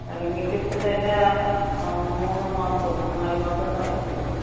എറങ്ങിയിട്ടിപ്പംതന്ന മൂന്നുമാസോ നാലുമാസോ എന്തോ ആയീന്ന് തോന്നുന്നു.